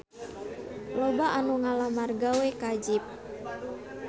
Loba anu ngalamar gawe ka Jeep